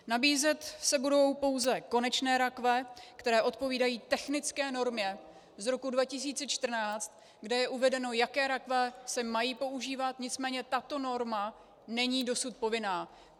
Nabízet se budou pouze konečné rakve, které odpovídají technické normě z roku 2014, kde je uvedeno, jaké rakve se mají používat, nicméně tato norma není dosud povinná.